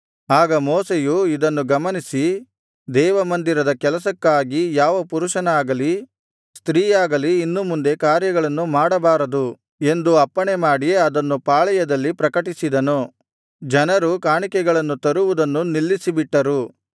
ಆಗ ಮೋಶೆಯು ಇದನ್ನು ಗಮನಿಸಿ ದೇವಮಂದಿರದ ಕೆಲಸಕ್ಕಾಗಿ ಯಾವ ಪುರುಷನಾಗಲಿ ಸ್ತ್ರೀಯಾಗಲಿ ಇನ್ನು ಮುಂದೆ ಕಾರ್ಯಗಳನ್ನೂ ಮಾಡಬಾರದು ಎಂದು ಅಪ್ಪಣೆಮಾಡಿ ಅದನ್ನು ಪಾಳೆಯದಲ್ಲಿ ಪ್ರಕಟಿಸಿದನು ಜನರು ಕಾಣಿಕೆಗಳನ್ನು ತರುವುದನ್ನು ನಿಲ್ಲಿಸಿಬಿಟ್ಟರು